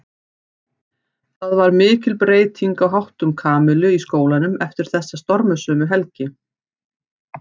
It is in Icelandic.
Það varð mikil breyting á háttum Kamillu í skólanum eftir þessa stormasömu helgi.